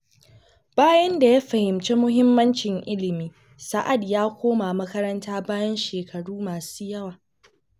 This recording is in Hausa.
Bayan da ya fahimci muhimmancin ilimi, Sa’ad ya koma makaranta bayan shekaru masu yawa.